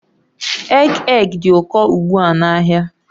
Egg egg dị ụkọ ugbu a n'ahịa